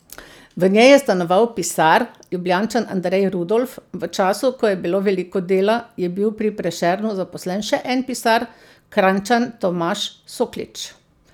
V njej je stanoval pisar, Ljubljančan Andrej Rudolf, v času, ko je bilo veliko dela, je bil pri Prešernu zaposlen še en pisar, Kranjčan Tomaž Soklič.